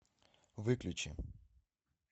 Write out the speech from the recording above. выключи